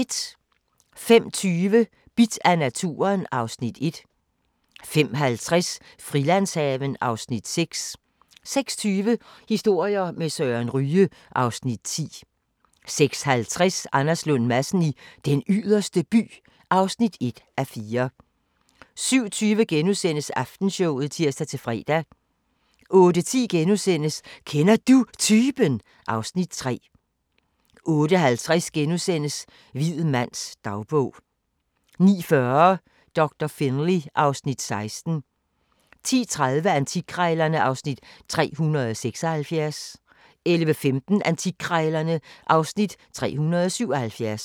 05:20: Bidt af naturen (Afs. 1) 05:50: Frilandshaven (Afs. 6) 06:20: Historier med Søren Ryge (Afs. 10) 06:50: Anders Lund Madsen i Den Yderste By (1:4) 07:20: Aftenshowet *(tir-fre) 08:10: Kender Du Typen? (Afs. 3)* 08:50: Hvid mands dagbog (3:3)* 09:40: Doktor Finlay (Afs. 16) 10:30: Antikkrejlerne (Afs. 376) 11:15: Antikkrejlerne (Afs. 377)